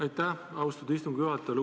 Aitäh, austatud istungi juhataja!